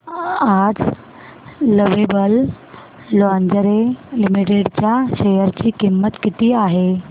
आज lovable lingerie limited च्या share ची किंमत किती आहे